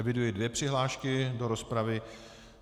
Eviduji dvě přihlášky do rozpravy.